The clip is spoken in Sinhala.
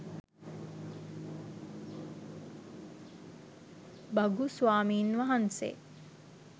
භගු ස්වාමින් වහන්සේ